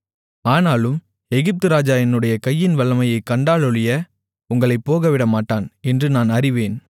ஆனாலும் எகிப்து ராஜா என்னுடைய கையின் வல்லமையைக் கண்டாலொழிய உங்களைப் போகவிடமாட்டான் என்று நான் அறிவேன்